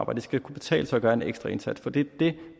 og det skal kunne betale sig at gøre en ekstra indsats for det er det